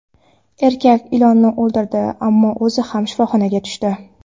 Erkak ilonni o‘ldirdi, ammo o‘zi ham shifoxonaga tushdi.